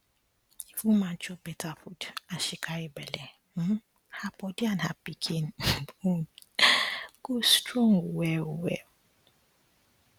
if woman chop beta food as she carry belle um her body and her pikin um own go strong well well